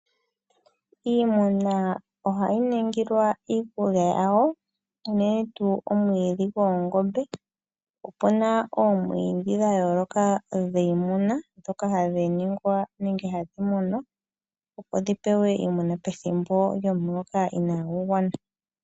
Iimuna ohayi ningilwa iikulya yawo uunene tu omwiidhi goongombe. Opuna oomwiidhi dhayooloka dhiimuna dhoka hadhi ningwa nenge hadhi munwa opo dhipewe iimuna pethimbo lyomuloka inagugwana.